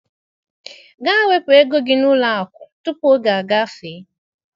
Gaa wepụ ego gị n'ụlọ akụ, tupu oge agafee.